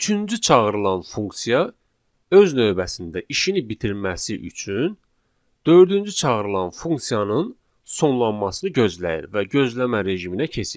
Üçüncü çağırılan funksiya öz növbəsində işini bitirməsi üçün dördüncü çağırılan funksiyanın sonlanmasını gözləyir və gözləmə rejiminə keçir.